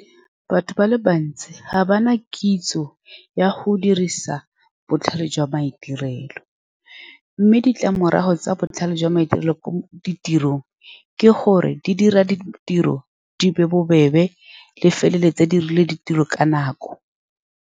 Batho ba le bantsi ga ba na kitso ya go dirisa botlhale jwa maitirelo, mme ditlamorago tsa botlhale jwa maitirelo ko ditirong ke gore di dira ditiro di be bobebe, di feleletse di dirile ditiro ka nako.